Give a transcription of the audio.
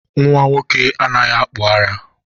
Nnwa nwoke anaghị akpụ ara